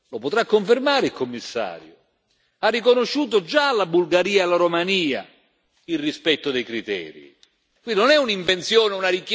E il Presidente Juncker lo potrà confermare il Commissario ha riconosciuto già alla Bulgaria e alla Romania il rispetto dei criteri.